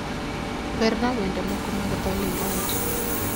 werna wende moko mag dho lingala.